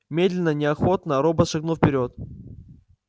медленно неохотно робот шагнул вперёд